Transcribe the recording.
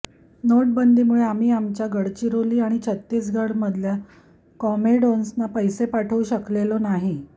नोटाबंदीमुळे आम्ही आमच्या गडचिरोली आणि छत्तीसगडमधल्या कॉम्रेड्सना पैसे पाठवू शकलेलो नाही